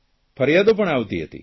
ફરિયાદો પણ આવતી હતી